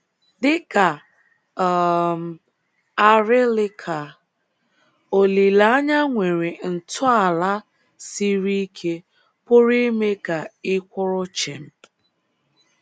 Dị ka um arịlịka, olileanya nwere ntọala siri ike pụrụ ime ka ị kwụrụ chịm